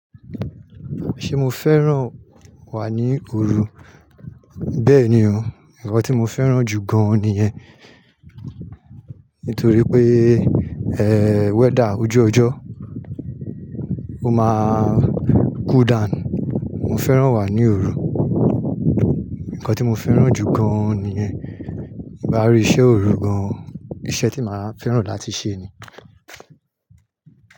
Ṣé mo fẹ́ràn wà ní òru? Bẹ́ẹ̀ni o, ǹkan tí mo fẹ́ràn jù gán-an nìyẹn. Nítorí pé, weather ojú ọjọ́ ó máa cool down. Mo fẹ́ràn wà ní òru. Ǹkan tí mo fẹ́ràn jù gán-an nìyẹn. Ti n bá rí iṣẹ́ òru gan-an, iṣẹ́ tí màá fẹ́ràn láti ṣe nìyẹn.